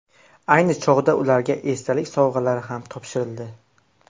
Ayni chog‘da ularga esdalik sovg‘alari ham topshirildi.